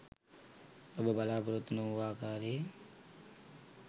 ඔබ බලා‍පොරොත්තු නොවූ ආකාරයේ